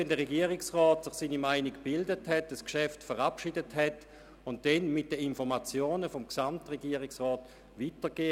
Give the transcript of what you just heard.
Der Gesamtregierungsrat versieht das Geschäft mit seinen Anmerkungen und gibt es weiter.